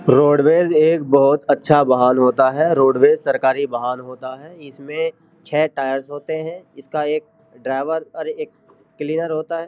Roadways एक बहोत अच्छा वाहन होता है। रोडवेज सरकारी वाहन होता है। इसमें छे टायर्स होते हैं। इसका एक ड्राईवर और एक क्लीनर होता है।